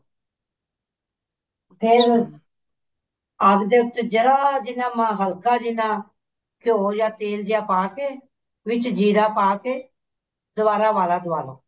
ਫ਼ੇਰ ਆਪਦੇ ਉੱਤੇ ਜਿਹੜਾ ਜਿੰਨਾ ਹਲਕਾ ਜਿੰਨਾ ਘਿਓ ਜਾਂ ਤੇਲ ਜਾ ਪਾ ਕੇ ਵਿੱਚ ਜ਼ੀਰਾ ਪਾ ਕੇ ਦੁਬਾਰਾ ਉਬਾਲਾ ਦਵਾ ਲੋ